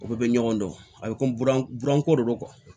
O bɛɛ bɛ ɲɔgɔn dɔn a bɛ komi buranko de do